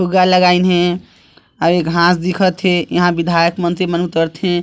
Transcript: फुग्गा लगा इन हे अउ ए घास दिखत हे यहाँ विधायक मंत्री मन उतरथे--